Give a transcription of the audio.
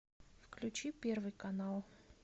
включи первый канал